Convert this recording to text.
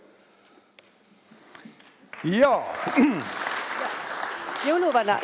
Jõuluvana!